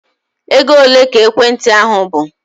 Ego ole ka ekwentị ahụ bụ?